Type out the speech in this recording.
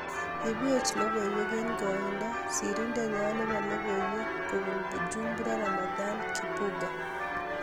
Ibwech logoiwek eng koindoo sirindet nyoo neboo logoiwek kobuun Bujumbura Ramadhani KiBUGA